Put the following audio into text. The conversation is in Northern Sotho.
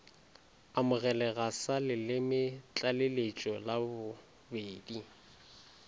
amogelega sa lelemetlaleletšo la bobedi